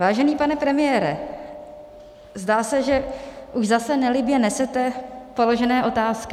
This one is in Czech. Vážený pane premiére, zdá se, že už zase nelibě nesete položené otázky.